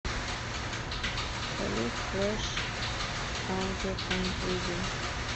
салют флэш аудиопанк видео